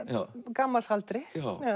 gamals aldri